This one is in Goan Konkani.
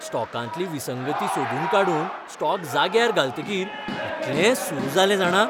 स्टॉकांतली विसंगती सोदून काडून स्टॉक जाग्यार घालतकीर इतलें सू जालें जाणा.